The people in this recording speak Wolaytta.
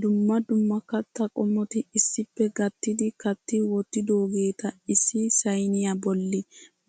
Dumma dumma kattaa qomoti issippe gattidi katti wottidoogeta issi sayniyaa bolli